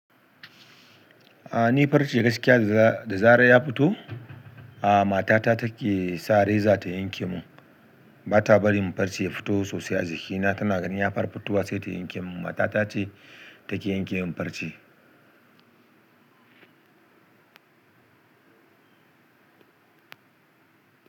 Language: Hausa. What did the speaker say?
A ni farce gaskiya da, da zarar ya fito, a matata take sa reza ta yanke mun. Bata bari mun farce ya fito sosai a jikina, tana ganin ya fara fitowa sai ta yanke mun. Matata ce take yanke mun farce.